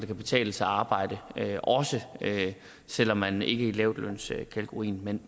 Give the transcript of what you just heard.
kan betale sig at arbejde selv om man ikke er i lavtlønskategorien men